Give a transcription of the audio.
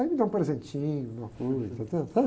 Aí me dão um presentinho, alguma coisa?